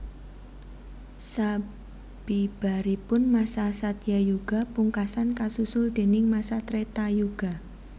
Sabibaripun masa Satyayuga pungkasan kasusul déning masa Tretayuga